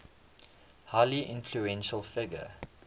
highly influential figure